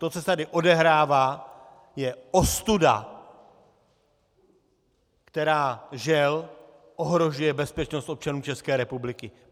To, co se tady odehrává, je ostuda, která, žel, ohrožuje bezpečnost občanů České republiky.